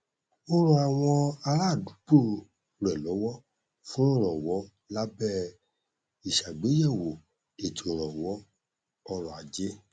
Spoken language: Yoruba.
ó ran àwọn aládùúgbò rẹ lọwọ fún ìrànwọ lábẹ ìṣàgbéyẹwò ètò ìrànwọ ọrọ ajé